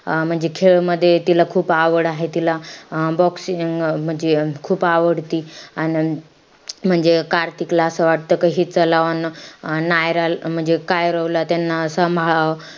अं म्हणजे खेळ मध्ये तिला खूप आवड आहे. तिला अं boxing अं म्हणजे खूप आवडती. अन म्हणजे कार्तिकला असं वाटतं का हि नायराला म्हणजे कायरोला त्यांना सांभाळावं.